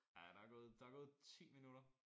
Ja der gået der gået 10 minutter